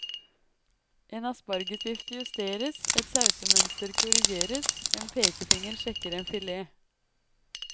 En aspargesvifte justeres, et sausemønster korrigeres, en pekefinger sjekker en filet.